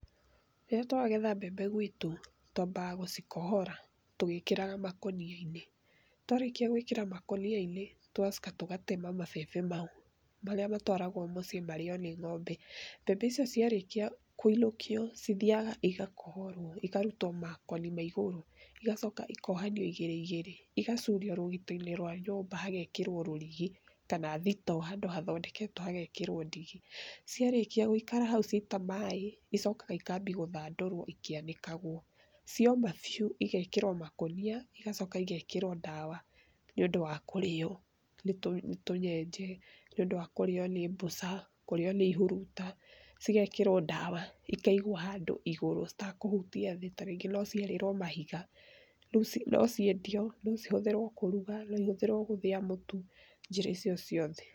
Rĩrĩa tũragetha mbembe gwitũ twambaga gũcikohora, tũgĩkĩraga makoniainĩ twarĩkia gwĩkĩra makoniainĩ tũgacoka tũgatema mabembe mau marĩa matwaragwo mũciĩ marĩo nĩ ng'ombe mbembe icio ciarĩkia kwĩnũkio cithiaga igakohorwo ikarutwa makoni ma igũrũ igacoka ikohanwa igĩrĩ igĩrĩ igacurwa rũgitoinĩ rwa nyũmba hahekĩrwo rũrigi kana thito handũ hathondeketwe hahekĩrwa ndigi ciarĩkia gũikara hau ciata maĩ icokaga ikambia gũthandũrwo ikĩanĩkagwo cioma biũ igekĩrwo makonia, igacoka igekĩrwa ndawa nĩũndũ wa kũrĩo nĩ tũnyenje, nĩũndũ wa kũrĩo nĩ mbũca kũrĩwa nĩ ihuruta, cigekĩrwa ndawa ikaigwa handu igũrũ itekũhutia thĩĩ tarĩngĩ nociarĩrwo mahiga, nociendio, nocihũthĩrwo kũruga, noihũthĩrwa kũthĩa mũtu njĩra icio ciothe.